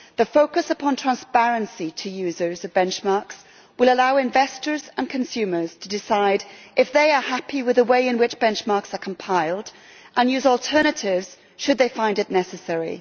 The focus upon transparency to users of benchmarks will allow investors and consumers to decide if they are happy with the way in which benchmarks are compiled and use alternatives should they find it necessary.